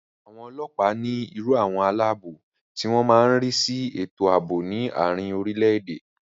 Àwọn ọlọ́ọ̀pá ní irú àwọn aláàbò tí wọ́n má n rí sí ètò àbò ní àrin orile-èdè